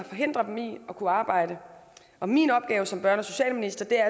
forhindrer dem i at kunne arbejde og min opgave som børne og socialminister er